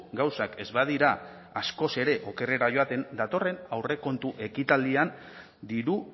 gauzak ez badira askoz ere okerrera joaten datorren aurrekontu ekitaldian diru